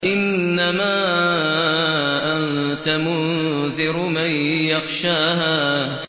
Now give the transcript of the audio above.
إِنَّمَا أَنتَ مُنذِرُ مَن يَخْشَاهَا